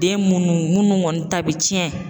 Den munnu munnu kɔni ta bɛ tiɲɛ